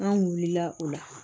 An wulila o la